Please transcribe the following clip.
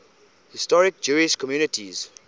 historic jewish communities